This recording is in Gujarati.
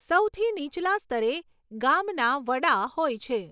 સૌથી નીચલા સ્તરે ગામના વડા હોય છે.